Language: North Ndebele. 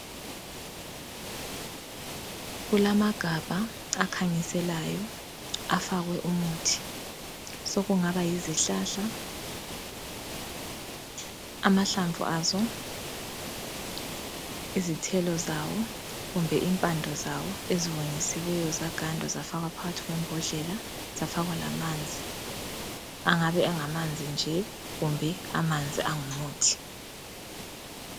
Kulamagabha akhanyiselayo afakwe umuthi, sokungaba yizihlahla, amahlamvu azo, izithelo zawo kumbe impande zawo eziwonyisiweyo zagandwa zafakwa phakathi kwembodlela, zafakwa lamanzi angabe engamanzi nje kumbe amanzi angumuthi.